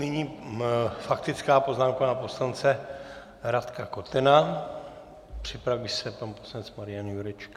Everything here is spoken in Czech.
Nyní faktická poznámka pana poslance Radka Kotena, připraví se pan poslanec Marian Jurečka.